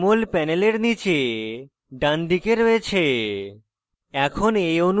এটি jmol panel নীচে ডানদিকে রয়েছে